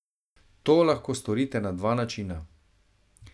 To lahko storite na dva načina.